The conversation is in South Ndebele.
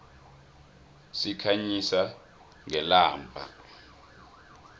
sikhanyisa ngelamba